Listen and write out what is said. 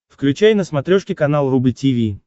включай на смотрешке канал рубль ти ви